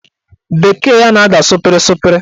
Bekee ya na-ada sụpịrị sụpịrị